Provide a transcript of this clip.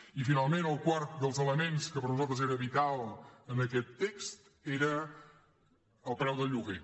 i finalment el quart dels elements que per nosaltres era vital en aquest text era el preu del lloguer